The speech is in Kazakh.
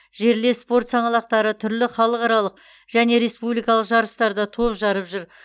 жерлес спорт саңлақтары түрлі халықаралық және республикалық жарыстарда топ жарып жүр